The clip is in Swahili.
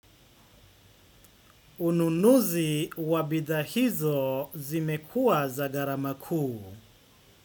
Ununuzi wa bidhaahizo zimekuwa za gharamakuu.